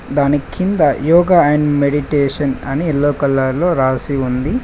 దాని కింద యోగా అండి మెడిటేషన్ అని ఎల్లో కలర్ లో రాసి ఉంది.